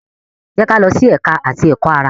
Jẹ ki a lọ si Ẹka ti Ẹkọ-ara!